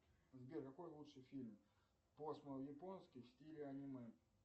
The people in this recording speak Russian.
сбер какой лучший фильм японский в стиле аниме